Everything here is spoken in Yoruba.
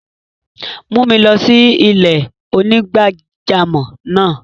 Mù mi lọ sí ilẹ̀-onígbàjàmọ́ náà!